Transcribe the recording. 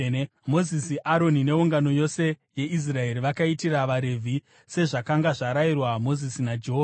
Mozisi, Aroni neungano yose yeIsraeri vakaitira vaRevhi sezvakanga zvarayirwa Mozisi naJehovha.